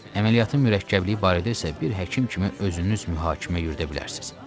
Əməliyyatın mürəkkəbliyi barədə isə bir həkim kimi özünüz mühakimə yürüdə bilərsiniz.